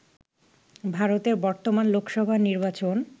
ভারতের বর্তমান লোকসভা নির্বাচন